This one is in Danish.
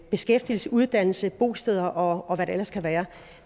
beskæftigelse uddannelse bosteder og hvad der ellers kan være